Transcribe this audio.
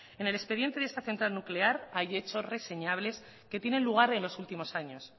en el expediente de esta central nuclear hay hechos reseñables que tienen lugar en los últimos años